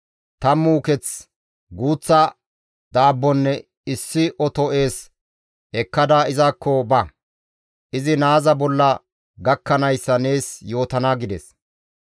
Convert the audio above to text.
Tammu uketh, guuththa daabbonne issi oto ees ekkada izakko ba; izi naaza bolla gakkanayssa nees yootana» gides.